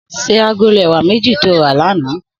Sé àgóló èwá méji tó rà lànã